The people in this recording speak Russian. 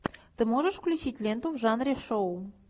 ты можешь включить ленту в жанре шоу